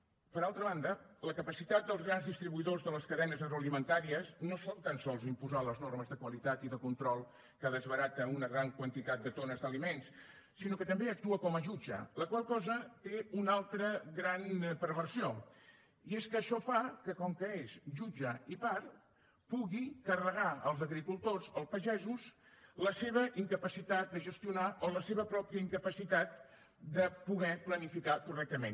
per altra banda la capacitat dels grans distribuïdors de les cadenes agroalimentàries no són tan sols imposar les normes de qualitat i de control que desbarata una gran quantitat de tones d’aliments sinó que també actua com a jutge la qual cosa té una altra gran perversió i és que això fa que com que és jutge i part pugui carregar als agricultors o pagesos la seva incapacitat de gestionar o la seva pròpia incapacitat de poder planificar correctament